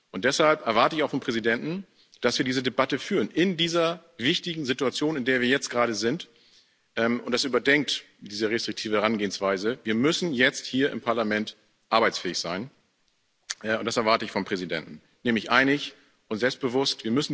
Und deshalb erwarte ich auch vom Präsidenten, dass wir diese Debatte führen in dieser wichtigen Situation, in der wir jetzt gerade sind, und dass er diese restriktive Herangehensweise überdenkt. Wir müssen jetzt hier im Parlament arbeitsfähig sein und das erwarte ich vom Präsidenten nämlich einig und selbstbewusst.